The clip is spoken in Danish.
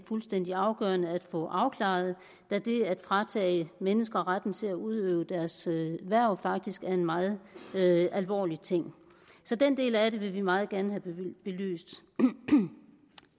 fuldstændig afgørende at få afklaret da det at fratage mennesker retten til at udøve deres erhverv faktisk er en meget alvorlig ting så den del af det vil vi meget gerne have belyst